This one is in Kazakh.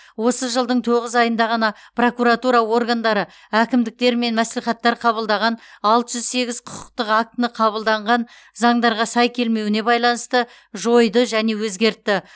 осы жылдың тоғыз айында ғана прокуратура органдары әкімдіктер мен мәслихаттар қабылдаған алты жүз сегіз құқықтық актіні қабылданған заңдарға сай келмеуіне байланысты жойды және өзгертті